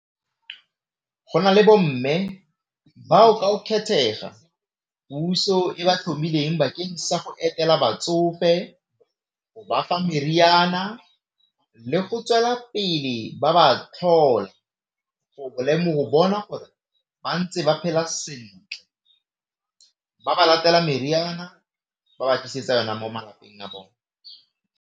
Go na le bomme bao ka o kgethega puso e ba tlhomileng bakeng sa go etela batsofe, go bafa meriana le go tswela pele ba ba tlhole go go bona gore ba ntse ba phela sentle ba ba latela meriana ba ba tlisetsa yona mo malapeng a bone.